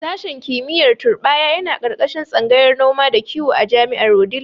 Sashen kimiyyar turɓaya yana ƙarƙashin tsangayar noma da kiwo a jami'ar a Wudil.